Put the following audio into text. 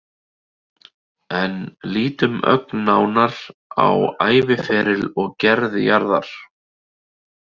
En lítum ögn nánar á æviferil og gerð jarðar.